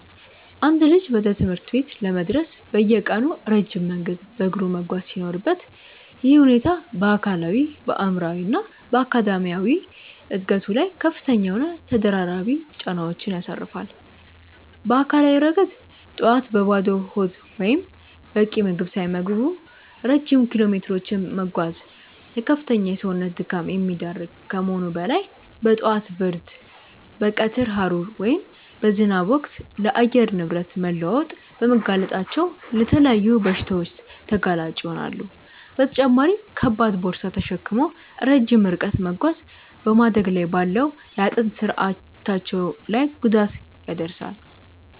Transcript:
አንድ ልጅ ወደ ትምህርት ቤት ለመድረስ በየቀኑ ረጅም መንገድ በእግሩ መጓዝ ሲኖርበት፣ ይህ ሁኔታ በአካላዊ፣ በአእምሯዊ እና በአካዳሚያዊ ዕድገቱ ላይ ከፍተኛ የሆኑ ተደራራቢ ጫናዎችን ያሳርፋል። በአካላዊ ረገድ፣ ጠዋት በባዶ ሆድ ወይም በቂ ምግብ ሳይመገቡ ረጅም ኪሎሜትሮችን መጓዝ ለከፍተኛ የሰውነት ድካም የሚዳርግ ከመሆኑም በላይ፣ በጠዋት ብርድ፣ በቀትር ሐሩር ወይም በዝናብ ወቅት ለአየር ንብረት መለዋወጥ በመጋለጣቸው ለተለያዩ በሽታዎች ተጋላጭ ይሆናሉ፤ በተጨማሪም ከባድ ቦርሳ ተሸክሞ ረጅም ርቀት መጓዝ በማደግ ላይ ባለው የአጥንት ስርአታቸው ላይ ጉዳት ያደርሳል።